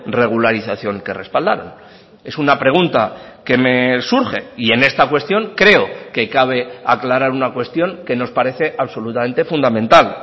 regularización que respaldaron es una pregunta que me surge y en esta cuestión creo que cabe aclarar una cuestión que nos parece absolutamente fundamental